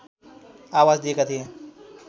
आवाज दिएका थिए